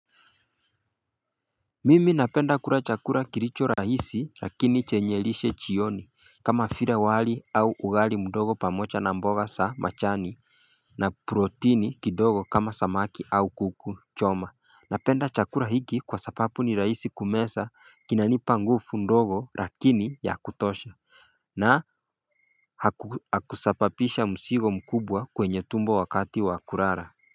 Mimi napenda kura chakura kiricho rahisi rakini chenye lishe chioni kama vire wali au ugali mdogo pamocha na mboga sa machani na protini kidogo kama samaki au kuku choma Napenda chakura hiki kwa sapapu ni rahisi kumesa kinanipa ngufu mdogo rakini ya kutosha na hakusapapisha msigo mkubwa kwenye tumbo wakati wa kurara.